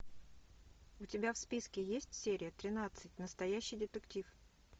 у тебя в списке есть серия тринадцать настоящий детектив